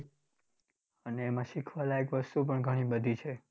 અને એમાં શીખવા લાયક વસ્તુ પણ ઘણી બધી છે.